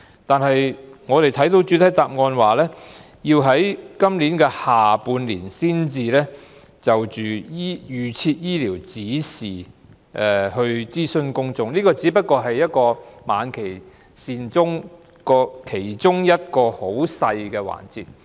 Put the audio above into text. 不過，我們從局長的主體答覆得知，當局須於今年下半年才會就預設醫療指示諮詢公眾，而這亦只是晚期善終服務其中一個很細微的環節。